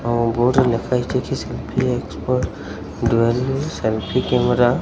ଆଉ ବୋର୍ଡ ରେ ଲେଖା ହେଇଛି କି selfie expert dual selfie camera.